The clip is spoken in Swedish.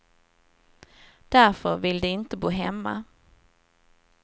Därför vill de inte bo hemma.